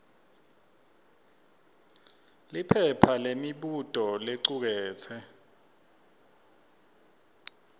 liphepha lemibuto licuketse